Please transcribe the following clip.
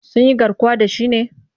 Sun yi garkuwa da shi ne?